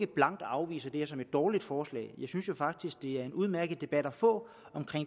blankt afviser det her som et dårligt forslag jeg synes faktisk det er en udmærket debat at få om